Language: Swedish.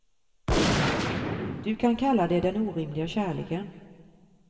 Du kan kalla det den orimliga kärleken.